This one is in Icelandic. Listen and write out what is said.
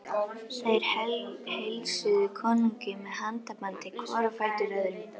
Þeir heilsuðu konungi með handabandi hvor á fætur öðrum.